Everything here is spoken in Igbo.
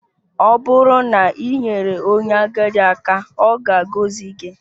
Ọ bụrụ na i nyere onye agadi aka, ọ ga-agọzi gị